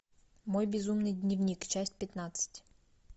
мой безумный дневник часть пятнадцать